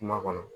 Kuma kɔnɔ